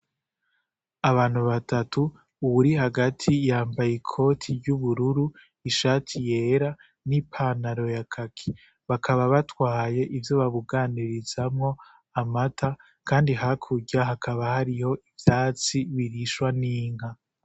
Abantu batatu uwuri hagati yambaye ikoti y'ubururu ishati yera n'ipanaro ya kaki bakaba batwaye ivyo babuganirizamwo amata, kandi hakurya hakaba hariho ivyatsi birishwa n'inka.